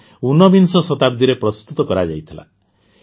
ଏହା ଊନବିଂଶ ଶତାବ୍ଦୀରେ ପ୍ରସ୍ତୁତ କରାଯାଇଥିଲା